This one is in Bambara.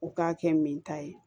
U k'a kɛ min ta ye